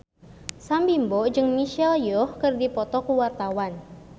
Sam Bimbo jeung Michelle Yeoh keur dipoto ku wartawan